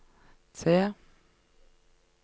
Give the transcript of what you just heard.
T